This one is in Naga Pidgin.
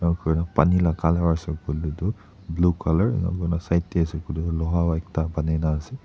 enaka kurina pani laka colour asae koilae toh blue colour enaka kurina side dae asae koilae toh loha pata ekta bonai na asae.